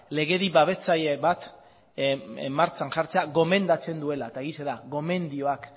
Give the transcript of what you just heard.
legedi babestzaile bat martxan jartzea gomendatzen duela eta egia da gomendioak